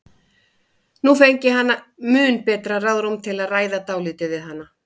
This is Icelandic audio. Nú fengi hann mun betra ráðrúm til að ræða dálítið við hana.